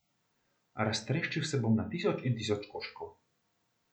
Raztreščil se bom na tisoč in tisoč koščkov.